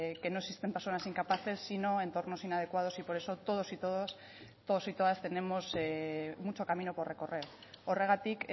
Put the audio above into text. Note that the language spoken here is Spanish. que no existen personas incapaces sino entornos inadecuados y por eso todos y todas tenemos mucho camino por recorrer horregatik